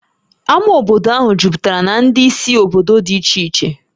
Ámá obodo ahụ juputara na ndị si obodo dị iche iche